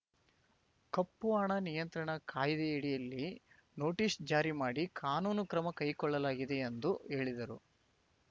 ಕಪ್ಪು ಹಣ ನಿಯಂತ್ರಣ ಕಾಯ್ದೆಯಡಿಯಲ್ಲಿ ನೊಟೀಸ್‌ ಜಾರಿ ಮಾಡಿ ಕಾನೂನು ಕ್ರಮ ಕೈಕೊಳ್ಳಲಾಗಿದೆ ಎಂದು ಹೇಳಿದರು